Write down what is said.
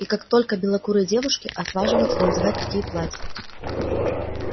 и как только белокурые девушки отваживаются надевать такие платья